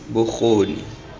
bokgoni